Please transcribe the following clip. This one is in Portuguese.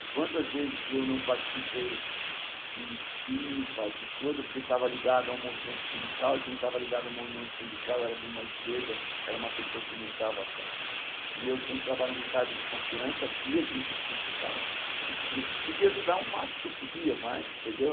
E quantas vezes eu não participei de cipa, de coisa, porque estava ligado a um movimento sindical, e quem estava ligado a um movimento sindical era de uma esquerda, era uma pessoa que não estava pa... E eu sempre trabalhando em cargo de confiança, via as injustiças que ficava, e po podia ajudar o máximo que eu podia, mas, entendeu?